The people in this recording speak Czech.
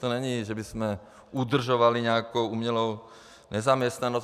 To není, že bychom udržovali nějakou umělou nezaměstnanost.